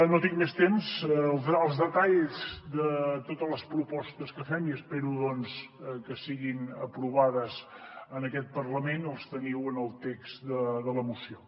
no tinc més temps els detalls de totes les propostes que fem i espero doncs que siguin aprovades en aquest parlament els teniu en el text de la moció